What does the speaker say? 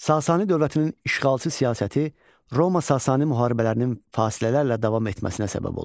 Sasani dövlətinin işğalçı siyasəti Roma-Sasani müharibələrinin fasilələrlə davam etməsinə səbəb olurdu.